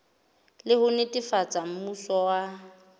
le ho netefatsa mmuso wa